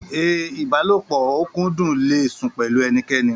A ibalopo okudun le sun pẹlu enikeni.